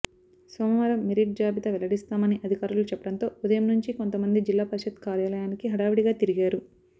సోమవారం మెరిట్ జాబితా వెల్లడిస్తామని అధికారులు చెప్పడంతో ఉదయం నుంచి కొంతమంది జిల్లా పరిషత్ కార్యాలయానికి హడవుడిగా తిరిగారు